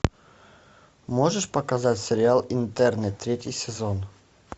можешь показать сериал интерны третий сезон